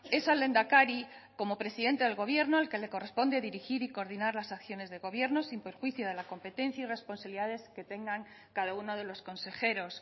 es al lehendakari como presidente del gobierno al que le corresponde dirigir y coordinar las acciones de gobierno sin perjuicio de competencia y responsabilidades que tengan cada uno de los consejeros